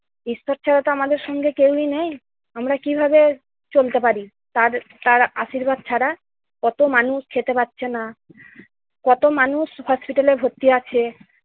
ঈশ্বর ছাড়া তো আমাদের সঙ্গে কেউই নেই, আমরা কিভাবে চলতে পারি তার তার আশীর্বাদ ছাড়া! কত মানুষ খেতে পারছে না, কত মানুষ hospital এ ভর্তি আছে